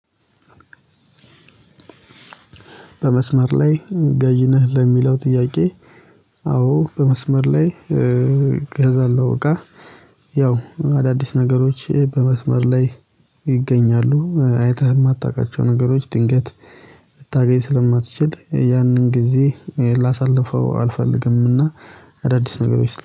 በመስመር ላይ ገዢ ነህ ለሚለው ጥያቄ? አዎ በመስመር ላይ እገዛለሁ እቃ። ያው አዳዲስ ነገሮች በመስመር ላይ ይገኛሉ አይተህ የማታውቃቸው ነገሮች ድንገት ልታገኝ ስለማትችል ያንን ጊዜ ላሳልፈው አልፈልግምና። አዳዲስ ነገሮች